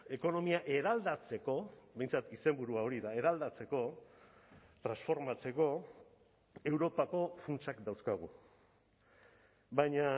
ekonomia eraldatzeko behintzat izenburua hori da eraldatzeko transformatzeko europako funtsak dauzkagu baina